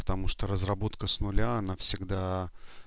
потому что разработка с нуля она всегда